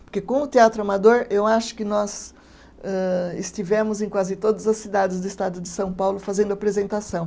Porque com o Teatro Amador, eu acho que nós, âh estivemos em quase todas as cidades do estado de São Paulo fazendo apresentação.